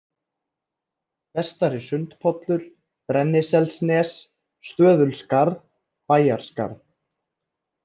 Vestari-Sundpollur, Brenniselsnes, Stöðulskarð, Bæjarskarð